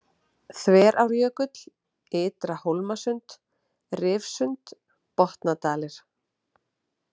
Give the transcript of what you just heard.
Þverárjökull, Ytra-Hólmasund, Rifsund, Botnadalir